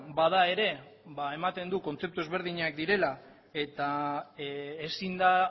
bada ere ematen du kontzeptu ezberdinak direla eta ezin da